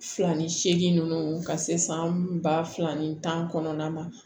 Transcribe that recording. Fila ni seegin ninnu ka se san ba fila ni tan kɔnɔna ma